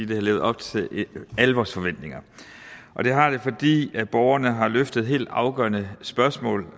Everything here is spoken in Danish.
det har levet op til alle vores forventninger og det har det fordi borgerne har løftet helt afgørende spørgsmål